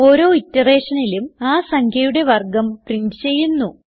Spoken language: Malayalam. ഓരോ iterationലും ആ സംഖ്യയുടെ വർഗം പ്രിന്റ് ചെയ്യുന്നു